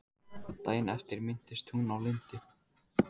Daginn eftir minntist hún á Lindu.